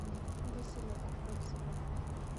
василек отзывы